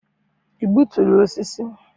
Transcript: i gbuturu osisi?